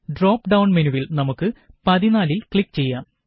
drop down മെനുവില് നമുക്ക് 14 ല് ക്ലിക് ചെയ്യാം